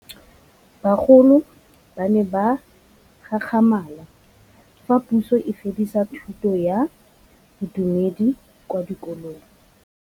Bagolo ba ne ba gakgamala fa Pusô e fedisa thutô ya Bodumedi kwa dikolong.